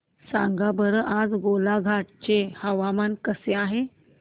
सांगा बरं आज गोलाघाट चे हवामान कसे आहे